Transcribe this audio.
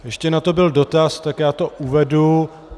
Ještě na to byl dotaz, tak já to uvedu.